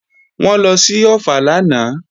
Wọ́n lọ sí Ọ̀ffà lánàá